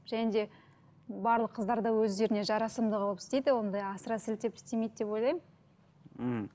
және де барлық қыздар да өздеріне жарасымды қылып істейді ондай асыра сілтеп істемейді деп ойлаймын м